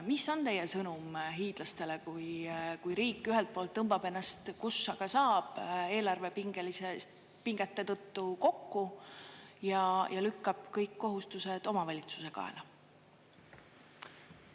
Mis on teie sõnum hiidlastele, kui riik ühelt poolt tõmbab ennast, kus aga saab, eelarve pingete tõttu kokku ja lükkab kõik kohustused omavalitsuse kaela?